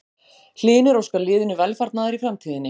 Hlynur óskar liðinu velfarnaðar í framtíðinni.